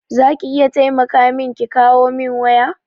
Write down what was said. za ki iya taimaka min ki kawo min waya?